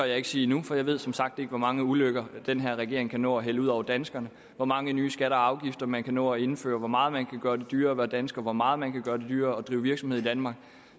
jeg ikke sige nu for jeg ved som sagt ikke hvor mange ulykker den her regering kan nå at hælde ud over danskerne hvor mange nye skatter og afgifter man kan nå at indføre hvor meget man kan gøre det dyrere at være dansker hvor meget man kan gøre det dyrere at drive virksomhed i danmark